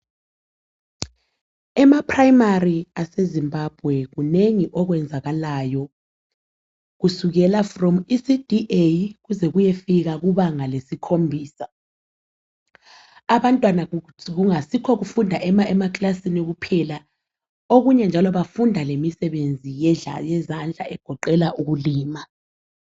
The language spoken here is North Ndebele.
Emaprimary ase Zimbabwe kunengi okwenzakalayo. Kusukela from ku ECD A kuze kuyefika kubanga lesikhombisa, abantwana kungayisikho ukufunda ema classini kuphela okunye njalo bafunda lemisebenzi yezandla egoqela ukulima.